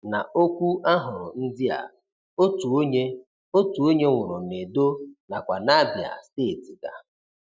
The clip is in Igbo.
Na okwu ahụrụ ndị a, otu onye, otu onye nwụrụ n' Edo nakwa n'Abia steeti ga.